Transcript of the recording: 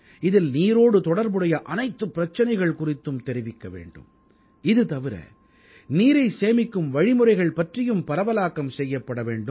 இதில் நீரோடு தொடர்புடைய அனைத்துப் பிரச்சனைகள் குறித்தும் தெரிவிக்க வேண்டும் இது தவிர நீரைச் சேமிக்கும் வழிமுறைகள் பற்றியும் பரவலாக்கம் செய்யப்பட வேண்டும்